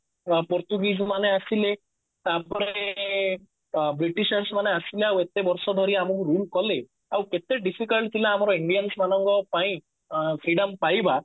Portuguese ମାନେ ଆସିଥିଲେ ତାପରେ ବ୍ରିଟିଶସ ମାନେ ଆସିଲେ ଆଉ ଏତେ ବର୍ଷ ଧରି ଆମକୁ rule କଲେ ଆଉ କେତେ difficult ଥିଲା ଆମର Indians ମାନଙ୍କ ପାଇଁ ଅ freedom ପାଇବା